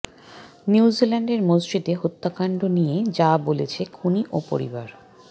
নিউজিল্যান্ডের মসজিদে হত্যাকাণ্ড নিয়ে যা বলেছে খুনি ও পরিবার